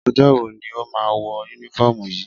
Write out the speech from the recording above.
Ọjọ́ wo ni ó máa ń wọ únífọ́ọ́mù yìí?